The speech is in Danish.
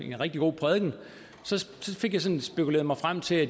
rigtig god prædiken fik jeg sådan spekuleret mig frem til at